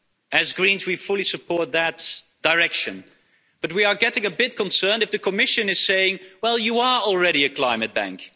As Greens we fully support that direction. But we are getting a bit concerned if the Commission is saying well, you are already a climate bank.